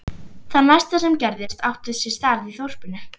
Það næsta sem gerðist átti sér stað í þorpinu.